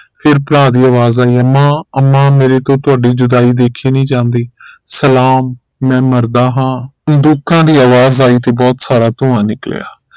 ਫਿਰ ਭਰਾ ਦੀ ਆਵਾਜ਼ ਆਈ ਅੰਮਾ ਅੰਮਾ ਮੇਰੇ ਤੋਂ ਤੁਹਾਡੀ ਜੁਦਾਈ ਦੇਖੀ ਨਹੀਂ ਜਾਂਦੀ ਸਲਾਮ ਮੈਂ ਮਰਦਾ ਹਾਂ ਬੰਦੂਕਾਂ ਦੀ ਆਵਾਜ਼ ਆਈ ਤੇ ਬਹੁਤ ਸਾਰਾ ਧੁਆ ਨਿਕਲਿਆ